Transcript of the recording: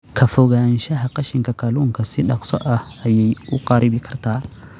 Ka fogaanshaha qashinka kalluunka si dhakhso ah ayey u kharribi kartaa.